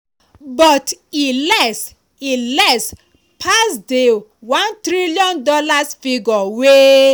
but e less e less pass di $1tn figure wey